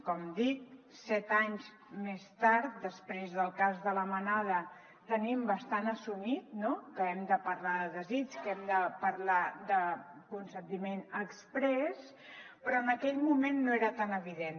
com dic set anys més tard després del cas de la manada tenim bastant assumit que hem de parlar de desig que hem de parlar de consentiment exprés però en aquell moment no era tan evident